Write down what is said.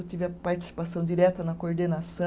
Eu tive a participação direta na coordenaçã